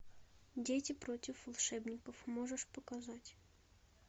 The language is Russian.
дети против волшебников можешь показать